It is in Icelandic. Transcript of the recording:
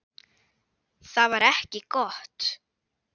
Það var ekki gott.